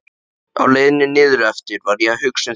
Á leiðinni niðureftir var ég að hugsa um þig.